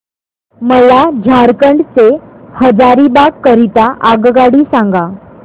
मला झारखंड से हजारीबाग करीता आगगाडी सांगा